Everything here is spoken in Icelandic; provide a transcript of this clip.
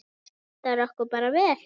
Það hentar okkur bara vel.